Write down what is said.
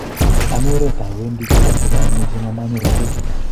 Ami oret awendi kiabwat che chang mising amanyoru walutik